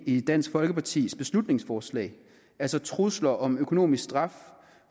i dansk folkepartis beslutningsforslag altså at trusler om økonomisk straf